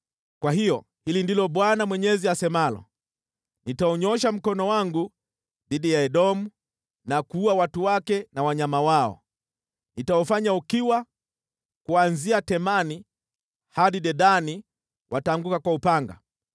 kwa hiyo hili ndilo Bwana Mwenyezi asemalo: Nitaunyoosha mkono wangu dhidi ya Edomu na kuua watu wake na wanyama wao. Nitaufanya ukiwa, kuanzia Temani hadi Dedani wataanguka kwa upanga.